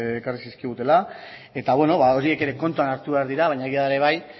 ekarri zizkigutela eta bueno horiek kontuan hartu behar dira baina egia da ere bai